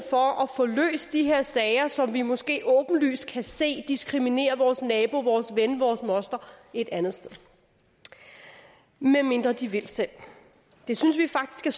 for at få løst de her sager som vi måske åbenlyst kan se diskriminerer vores nabo vores ven vores moster et andet sted medmindre de vil selv det synes vi faktisk er